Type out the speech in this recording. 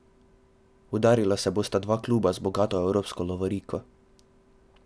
Udarila se bosta dva kluba z bogato evropsko lovoriko.